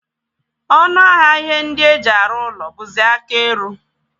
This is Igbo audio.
Ọnụ ahịa ihe ndị e ji arụ ụlọ bụzi aka eru.